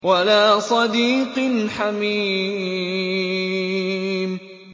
وَلَا صَدِيقٍ حَمِيمٍ